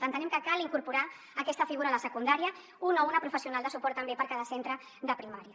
entenem que cal incorporar aquesta figura a la secundària un o una professional de suport també per a cada centre de primària